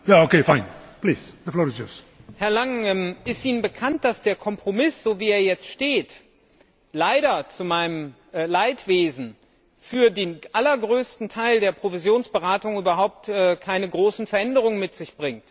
Herr Präsident! Herr Langen, ist Ihnen bekannt, dass der Kompromiss, so wie er jetzt steht, zu meinem Leidwesen für den allergrößten Teil der Provisionsberatung überhaupt keine großen Veränderungen mit sich bringt?